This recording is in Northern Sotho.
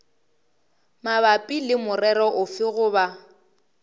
mabapi le morero ofe goba